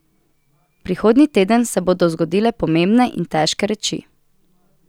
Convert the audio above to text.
Prihodnji teden se bodo zgodile pomembne in težke reči.